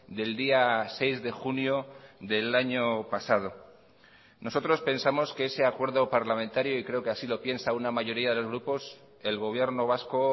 del día seis de junio del año pasado nosotros pensamos que ese acuerdo parlamentario y creo que así lo piensa una mayoría de los grupos el gobierno vasco